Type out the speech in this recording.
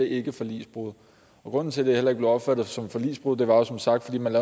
ikke forligsbrud og grunden til at det heller ikke blev opfattet som forligsbrud var som sagt at man